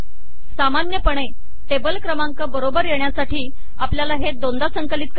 सामान्यपणे टेबल क्रमांक बरोबर येण्यासाठी आपल्याला हे दोनदा संकलित करावे लागते